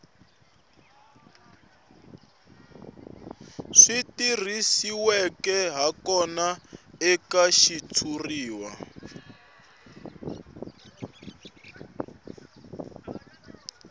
swi tirhisiweke hakona eka xitshuriwa